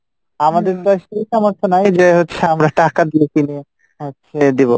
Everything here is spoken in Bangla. আমাদের তো আর সেই সামর্থ্য নাই যে হচ্ছে আমরা টাকা দিয়ে কিনে হচ্ছে দিবো